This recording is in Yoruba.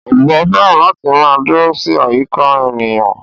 Ọ̀bọ fẹ́ràn láti máa dúró sí àyíká ènìyàn